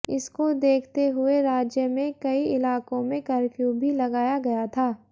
इसको देखते हुए राज्य में कई इलाकों में कर्फ्यू भी लगाया गया था